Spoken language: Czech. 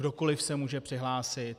Kdokoli se může přihlásit.